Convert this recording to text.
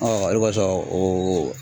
o de kɔsɔn o